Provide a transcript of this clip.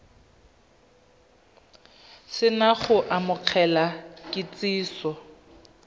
se na go amogela kitsiso